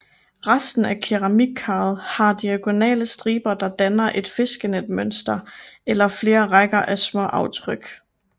Resten af keramikkaret har diagonale striber der danner et fiskenetmønster eller flere rækker af små aftryk